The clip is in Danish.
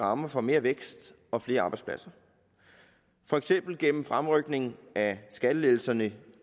rammer for mere vækst og flere arbejdspladser for eksempel gennem fremrykning af skattelettelserne